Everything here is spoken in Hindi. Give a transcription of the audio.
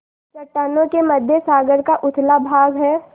चट्टानों के मध्य सागर का उथला भाग है